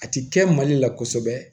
A ti kɛ mali la kosɛbɛ